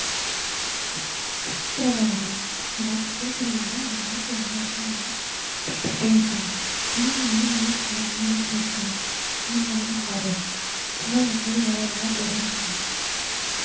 K~ கேக்குறத விட ஒரு வார்த்தை பேசுறதை விட அந்த வார்த்தையை வந்து அதிகமா கேட்டுகிட்டே இருக்கணும் இதையே வந்து news channel இங்கிலிஷ் channel இந்த மாறி எல்லாம் பாரு அப்பதான் வந்து over அ தெரியும் நம்மளுக்கு